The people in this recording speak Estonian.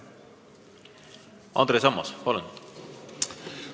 Andres Ammas, palun!